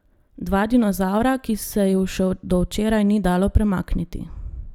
Dva dinozavra, ki se ju še do včeraj ni dalo premakniti.